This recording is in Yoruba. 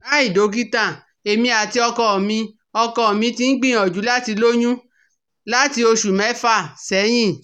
Hi Dokita, Emi ati ọkọ mi ọkọ mi ti n gbiyanju lati loyun lati oṣu mẹfa sẹhin